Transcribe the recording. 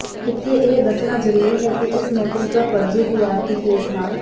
ਇੱਥੇ ਇਹ ਦੱਸਣਾ ਜ਼ਰੂਰੀ ਹੈ ਕਿ ਇਸ ਨੋਟਿਸ ਦਾ ਫਰਜ਼ੀ ਟੀਆਰਪੀ ਕੇਸ ਨਾਲ